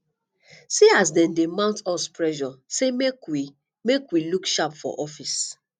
see as dem dey mount us pressure sey make we make we look sharp for office